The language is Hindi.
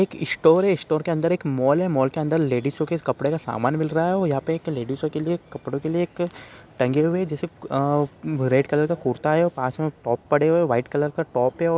एक स्टोर है स्टोर के अंदर एक मॉल है मॉल के अंदर लेडिसो के कपड़ो के सामान मिल रहा है और यहाँ पे एक लेडिसो के लिए कपड़ो के लिए एक टंगे हुए है जैसे कि अ रेड कलर का कुर्ता है और पास में टॉप पड़े हुए है वाइट कलर का टॉप है और --